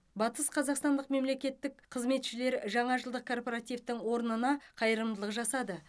батысқазақстандық мемлекеттік қызметшілер жаңажылдық корпоративтің орнына қайырымдылық жасады